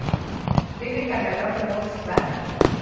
le lekalana la bongodi ba